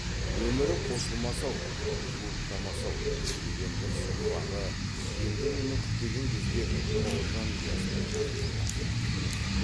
өмірі қосылмас ау жуықтамас ау деген өмір соқпағы енді мұны күтпеген кезде тоғжан ұясына жақын апарды